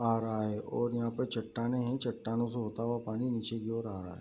आ रहा है और यहाँ पे चट्टानें हैं चट्टानों से होता हुआ पानी नीचे की ओर आ रहा है।